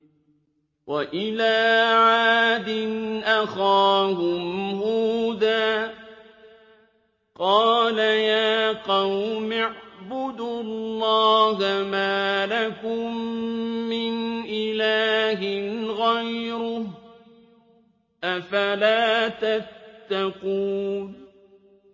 ۞ وَإِلَىٰ عَادٍ أَخَاهُمْ هُودًا ۗ قَالَ يَا قَوْمِ اعْبُدُوا اللَّهَ مَا لَكُم مِّنْ إِلَٰهٍ غَيْرُهُ ۚ أَفَلَا تَتَّقُونَ